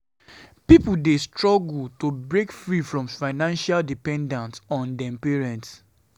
Pipo dey struggle to break free from financial dependence on dem parents.